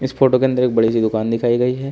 Photo के अंदर एक बड़ी सी दुकान दिखाई गई है।